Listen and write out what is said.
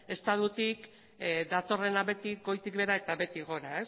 estatutik datorrena beti goitik behera eta behetik gora